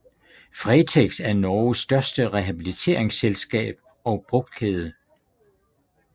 Fretex er Norges største rehabiliteringsselskab og brugtkæde